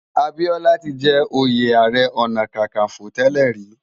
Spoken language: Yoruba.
Abiola ti jè óyé àárè òná kàkánfó tèlè ri